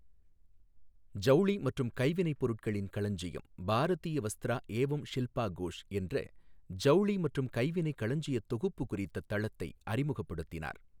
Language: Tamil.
ஜவுளி மற்றும் கைவினைப்பொருட்களின் களஞ்சியம் பாரதிய வஸ்திரா ஏவம் ஷில்பா கோஷ் என்ற ஜவுளி மற்றும் கைவினை களஞ்சியத் தொகுப்பு குறித்த தளத்தை அறிமுகப்படுத்தினார்.